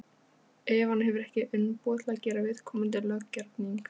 ef hann hefur ekki umboð til að gera viðkomandi löggerning.